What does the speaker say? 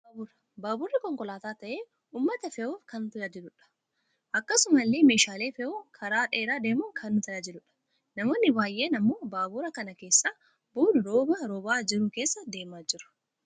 Baabura, baaburri konkolaataa ta'ee uumata fe'uuf kan nu tajaajiludha. akkasumasillee meeshaalees fe'uun karaa dheeraa deemuun kan nu tajaajiludha. Namoonni baayyeen ammoo baabura kana keessaa bu'uun rooba roobaa jiru keessa deemaa jiru.